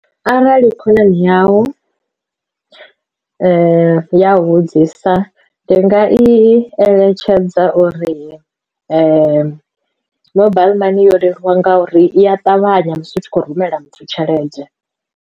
Arali khonani yau ya vhudzisa ndi nga i eletshedza uri mobile money yo leluwa nga uri i a ṱavhanya musi u tshi khou rumela muthu tshelede.